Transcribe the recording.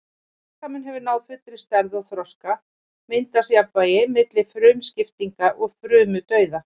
Þegar líkaminn hefur náð fullri stærð og þroska myndast jafnvægi milli frumuskiptinga og frumudauða.